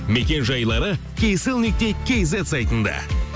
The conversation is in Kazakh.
мекен жайлары кейселл нүкте кейзет сайтында